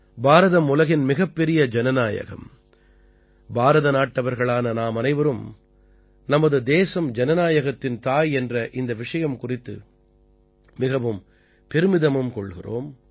பாரதம் உலகின் மிகப்பெரிய ஜனநாயகம் பாரத நாட்டவர்களான நாம் அனைவரும் நமது தேசம் ஜனநாயகத்தின் தாய் என்ற இந்த விஷயம் குறித்து மிகவும் பெருமிதமும் கொள்கிறோம்